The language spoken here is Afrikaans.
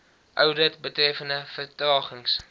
oudit betreffende vertragings